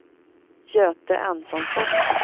Göte Antonsson